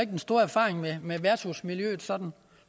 den store erfaring med med værtshusmiljøet sådan